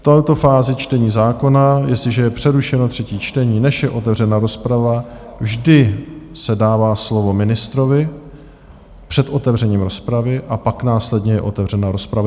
V této fázi čtení zákona, jestliže je přerušeno třetí čtení, než je otevřena rozprava, vždy se dává slovo ministrovi před otevřením rozpravy a pak následně je otevřena rozpravy.